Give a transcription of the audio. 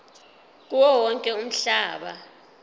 kuwo wonke umhlaba